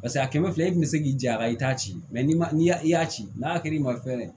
Paseke a kɛmɛ fila i kun be se k'i ja a la i t'a ci ni y'a i y'a ci n'a kɛra i ma fɛn ye dɛ